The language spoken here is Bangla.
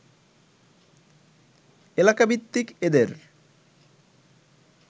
এলাকাভিত্তিক এদের